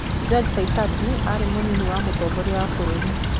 George Saitoti aarĩ mũnini wa Mũtongoria wa bũrũri